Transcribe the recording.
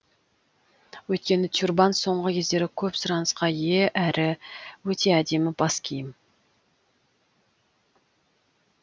өйткені тюрбан соңғы кездері көп сұранысқа ие әрі өте әдемі бас киім